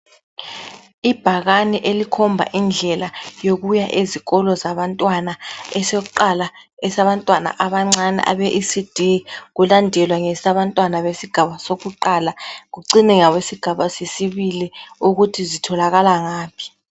Ibhakane elikhomba indlela yokuya ezikolo zabantwana. Esokuqala esabantwana abancane abe ECD. Kulandelwa ngesabatwana besigaba sakuqala. Kucine ngabe sigaba sesibili. Ukuthi zitholakala ngaphi.